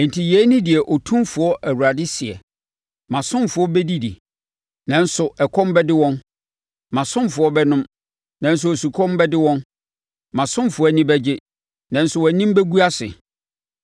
Enti yei ne deɛ Otumfoɔ Awurade seɛ: “Mʼasomfoɔ bɛdidi, nanso ɛkɔm bɛde wɔn, mʼasomfoɔ bɛnom, nanso osukɔm bɛde wɔn; mʼasomfoɔ ani bɛgye, nanso wɔn anim bɛgu ase.